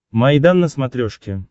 майдан на смотрешке